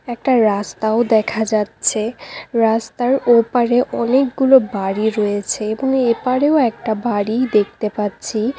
একটা রাস্তাও দেখা যাচ্ছে রাস্তার ওপারে অনেকগুলো বাড়ি রয়েছে এবং এপারে ও একটা বাড়ি দেখতে পাচ্ছি।